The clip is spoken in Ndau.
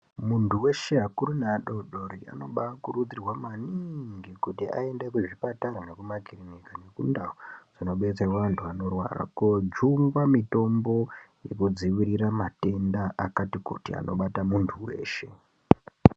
Muntu weshe vakuru nevadodori vanokurudzirwa maningi kuti aende kuzvipatara zvemakiriniki nendau Dzinodetserwa antu anorwara kojungwa mutombo wekudzivirira matenda akati kuti anobata muntu weshe.